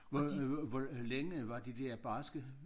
Hvor hvor længe var de der barske